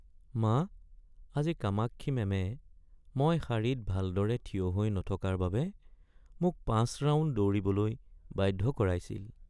মা, আজি কামাক্ষী মেমে মই শাৰীত ভালদৰে থিয় হৈ নথকাৰ বাবে মোক ৫ ৰাউণ্ড দৌৰিবলৈ বাধ্য কৰাইছিল।